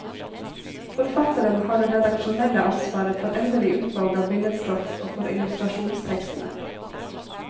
Forfatteren har det redaksjonelle ansvaret for endelig utvalg av billedstoff og for illustrasjonstekstene.